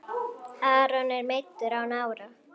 Aron er meiddur á nára.